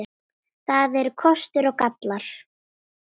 Það eru kostir og gallar.